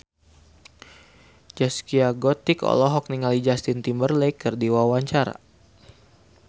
Zaskia Gotik olohok ningali Justin Timberlake keur diwawancara